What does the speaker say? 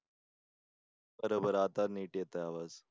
बरोबर आता नीट येतोय आवाज.